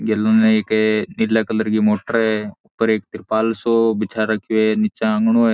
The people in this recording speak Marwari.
गेल न एक नीला कलर की मोटर है ऊपर एक त्रिपाल सो बिछा रखो है निचे आगनों है।